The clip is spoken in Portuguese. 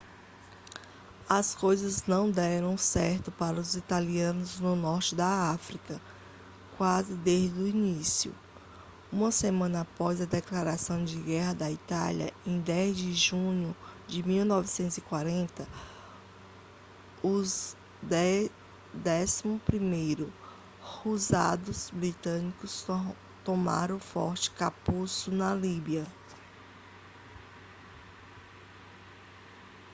as coisas não deram certo para os italianos no norte da áfrica quase desde o início uma semana após a declaração de guerra da itália em 10 de junho de 1940 os 11º hussardos britânicos tomaram o forte capuzzo na líbia